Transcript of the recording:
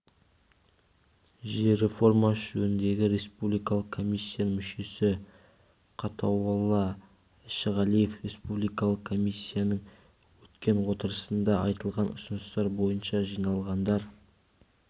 жер реформасы жөніндегі республикалық комиссияның мүшесі қатауолла әшіғалиев республикалық комиссияның өткен отырысында айтылған ұсыныстар бойынша жиналғандар